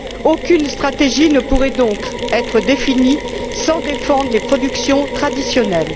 Aucune stratégie ne pourrait donc être définie sans défendre les productions traditionnelles.